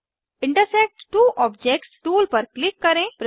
intersect two objects tool पर click करें